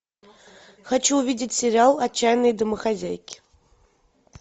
хочу увидеть сериал отчаянные домохозяйки